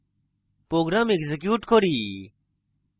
program execute করি